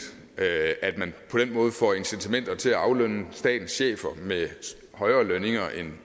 at man på den måde får incitamenter til at aflønne statens chefer med højere lønninger